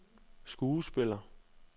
skuespiller